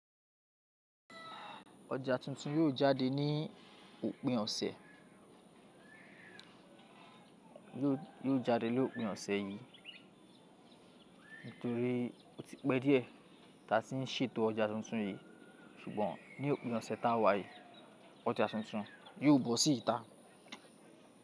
Ọjà tuntun yiò jáde ní òpin ọ̀sẹ̀. Yiò jáde ní òpin ọ̀sẹ̀ yìí. Nítorí oti pẹ́ díẹ̀ ta tí ń ṣètò ọjà tuntun yìí ṣùgbọ́n ní òpin ọ̀sẹ̀ tá wá yìí ọjà tuntun yiò bọ́ sí ìta.